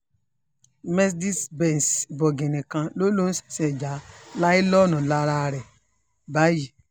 mercedez benz bọ̀gìnnì kan ló lóun ṣẹ̀ṣẹ̀ ja láìlọ́ọ̀nù lára ẹ̀ báyìí